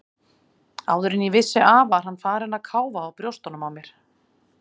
Áður en ég vissi af var hann farinn að káfa á brjóstunum á mér.